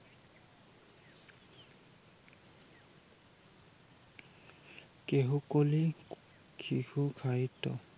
কেহুকলি কেহু সাহিত্য ।